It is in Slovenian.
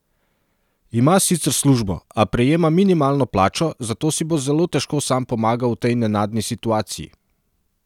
Ima sicer službo, a prejema minimalno plačo, zato si bo zelo težko sam pomagal v tej nenadni situaciji.